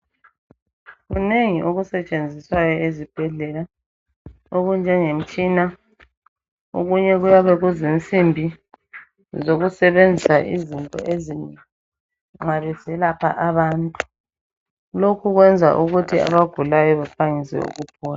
Kunengi okusetshenziswayo ezibhedlela okunjengemitshina, okunye kuyabe kuzinsimbi zokusebenza izinto ezinengi nxa beselapha abantu. Lokhu kwenza bagulayo baphangise ukuphola.